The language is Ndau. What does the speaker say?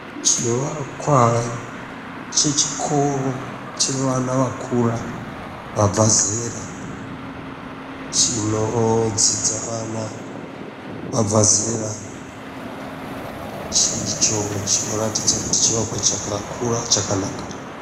Chiwakwa chechikoro chevana vakura vabva zera chinodzidza vana vabva zera icho chinoratidza kuti chivakwa chakakura chakanaka.